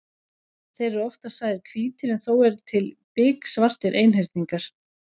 Þeir eru oftast sagðir hvítir en þó eru til biksvartir einhyrningar.